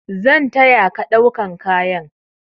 Zan taya ka ɗaukan kayan.